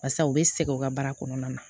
Barisa u bɛ sɛgɛn u ka baara kɔnɔna na